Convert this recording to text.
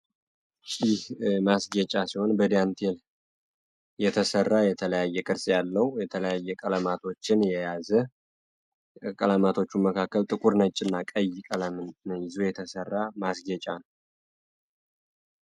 ጥልፍ ማስጌጫ ሲሆን በዳንቴል የተሰራ የተለያየ ቅርፅ ያለው የተለያየ ቀለማቶችን የያዘ ከቀለማቶቹም መካከል ጥቁር ፣ነጭ እና ቀይ ቀለም የተሰራ ማስጌጫ ነው።